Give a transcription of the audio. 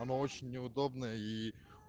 она очень неудобная и